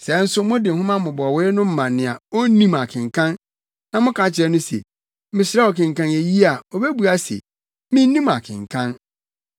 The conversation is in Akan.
Sɛ nso, mode nhoma mmobɔwee no ma nea onnim akenkan, na moka kyerɛ no se, “Mesrɛ wo kenkan eyi” a, obebua se, “Minnim akenkan.”